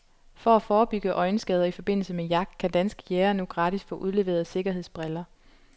For at forebygge øjenskader i forbindelse med jagt kan danske jægere nu gratis få udleveret sikkerhedsbriller.